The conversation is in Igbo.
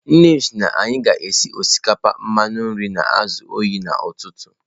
Nnem si na anyi ga esi osikapa mmanụ nri na azu oyi n'ututu.